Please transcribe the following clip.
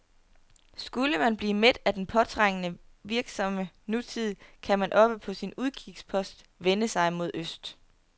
Skulle man blive mæt af den påtrængende, virksomme nutid, kan man oppe på sin udkigspost vende sig mod øst.